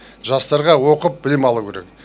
жастарға оқып білім алу керек